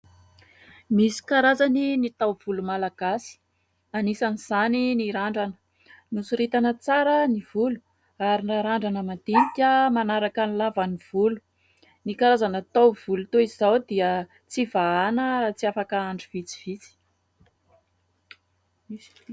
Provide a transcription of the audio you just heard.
Misy karazany ny taovolo malagasy. Anisan'izany ny randrana. Nosoritana tsara ny volo ary narandrana madinika manaraka ny lavany ny volo. Ny karazana taovolo toy izao dia tsy vahana raha tsy afaka andro vitsivitsy.